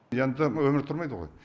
енді өмір тұрмайды ғой